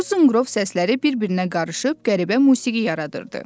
Bu sunqrov səsləri bir-birinə qarışıb qəribə musiqi yaradırdı.